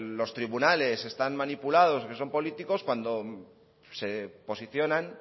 los tribunales están manipulados que son políticos cuando se posicionan